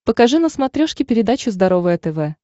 покажи на смотрешке передачу здоровое тв